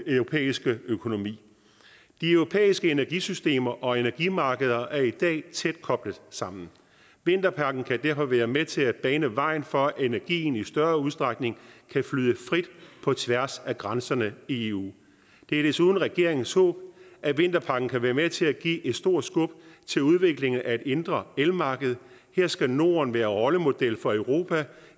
europæiske økonomi de europæiske energisystemer og energimarkeder er i dag tæt koblet sammen vinterpakken kan derfor være med til at bane vejen for at energien i større udstrækning kan flyde frit på tværs af grænserne i eu det er desuden regeringens håb at vinterpakken kan være med til at give et stort skub til udviklingen af et indre elmarked her skal norden være rollemodel for europa